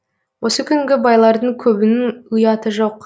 осы күнгі байлардың көбінің ұяты жоқ